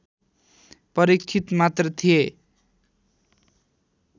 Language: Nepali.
परीक्षित मात्र थिए